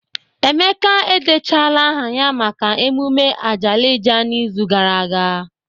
Emeka edechaala aha ya maka emume Ajalija n'izuụka gara aga